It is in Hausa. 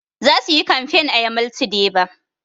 Za su yi kamfain a yamaltu deba